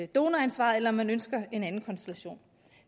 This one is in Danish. donoransvaret eller om man ønsker en anden konstellation